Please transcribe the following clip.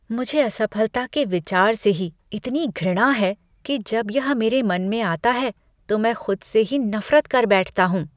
मुझे असफलता के विचार से ही इतनी घृणा है कि जब यह मेरे मन में आता है तो में खुद से ही नफरत कर बैठता हूँ।